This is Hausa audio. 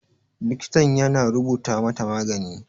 Likitan ya na rubuta mata magani.